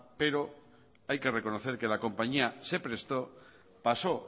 pero hay que reconocer que la compañía se prestó pasó